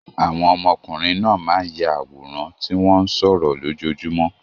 Àwọn ọmọkùnrin náà máa ń ya àwòrán tí wọ́n ń sọ̀rọ̀ lójoojúmọ́.